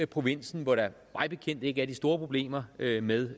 provinsen hvor der mig bekendt ikke er de store problemer med med